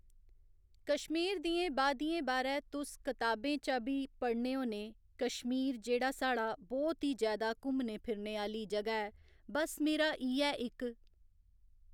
कश्मीर दियें बादियें बारै तुस कताबें च बी पढ़ने होने कश्मीर जेह्‌ड़ा साढ़ा बहु्त ही जैदा घुम्मने फिरने आह्‌ली जगह ऐ बस मेरा इ'यै इक